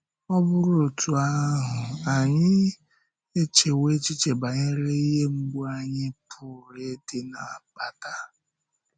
Ọ̀ bụrụ otú ahụ, ànyị echewo echiche banyere ihe mgbu anyị pụrụ ịdị na-akpata?